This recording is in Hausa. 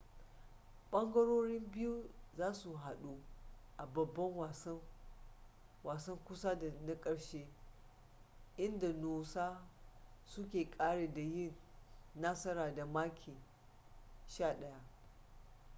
ɓangarorin biyu za su haɗu a babban wasan kusa da na ƙarshe inda noosa suka ƙare da yin nasara da maki 11